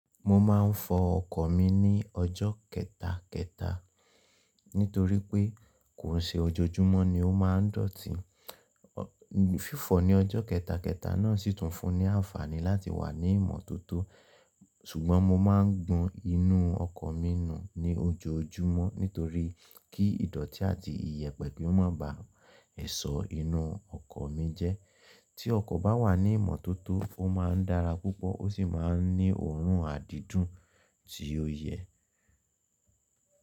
Mo máa ń fọ ọkọ̀ mi ní ọjọ́ kẹta, kẹta nítorí pé kò ṣe ojoojúmọ́ ni ó máa ń dọ̀tí. Fífọ̀ ní ọjọ́ kẹta, kẹta náà sì tún fún ní àǹfààní láti wà ní ìmọ́tótó ṣùgbọ́n mo máa ń gbọn inú ọkọ̀ mi nù ní ojoojúmọ́ nítorí kí ìdọ̀tí àti iyẹ̀pẹ̀ kí ó má ba lẹṣọ inú ọkọ̀ mi jẹ́. Tí ọkọ̀ bá wà ní ìmọ́tótó, ó máa ń dára púpọ̀ ó sì máa ń ní òórùn àdídùn tí ó yẹ.